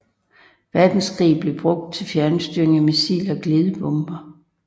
Verdenskrig blev det brugt til fjernstyring af missiler og glidebomber